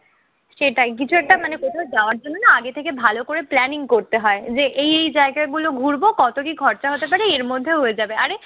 সেটাই কিছু একটা মানে কোথাও যাওয়ার জন্য না আগে থেকে ভালো করে planning করতে হয়। যে এই এই জায়গাগুলো ঘুরবো। কত কি খরচা হতে পারে, এর মধ্যে হয়ে যাবে। আরে